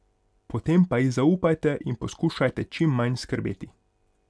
Potem pa ji zaupajte in poskušajte čim manj skrbeti.